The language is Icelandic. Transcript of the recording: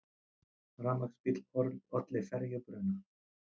Rafmagnsbíll olli ferjubruna